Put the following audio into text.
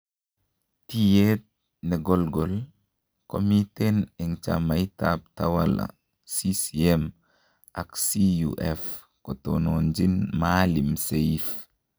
Tiyet negogol komiten en chamaitab Tawala CCM ak CUF kotononjin Maalim Seif.